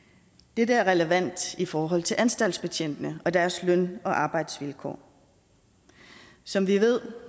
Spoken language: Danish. dette er relevant i forhold til anstaltsbetjentene og deres løn og arbejdsvilkår som vi ved